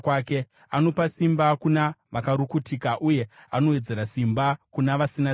Anopa simba kuna vakarukutika, uye anowedzera simba kuna vasina simba.